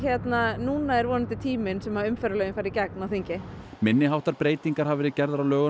núna er vonandi tíminn sem umferðarlögin fara í gegnum þingið minni háttar breytingar hafa verið gerðar á lögunum